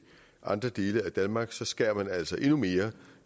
andre dele af danmark så skærer man altså endnu mere